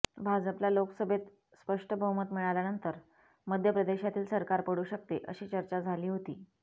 भाजपला लोकसभेत स्पष्ट बहुमत मिळाल्यानंतर मध्य प्रदेशातील सरकार पडू शकते अशी चर्चा सुरू झाली होती